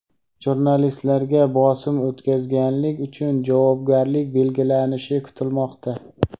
Jurnalistlarga bosim o‘tkazganlik uchun javobgarlik belgilanishi kutilmoqda.